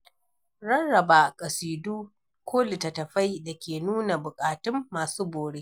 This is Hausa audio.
Rarraba kasidu ko littattafai da ke nuna bukatun masu bore.